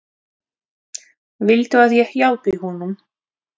Viltu að ég hjálpi honum?